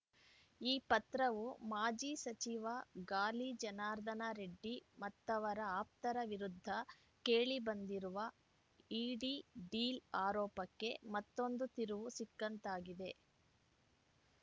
ಈ ಪತ್ರವು ಮಾಜಿ ಸಚಿವ ಗಾಲಿ ಜನಾರ್ದನ ರೆಡ್ಡಿ ಮತ್ತವರ ಆಪ್ತರ ವಿರುದ್ಧ ಕೇಳಿ ಬಂದಿರುವ ಇಡಿ ಡೀಲ್‌ ಆರೋಪಕ್ಕೆ ಮತ್ತೊಂದು ತಿರುವು ಸಿಕ್ಕಂತಾಗಿದೆ